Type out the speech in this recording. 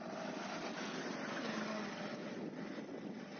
тельновым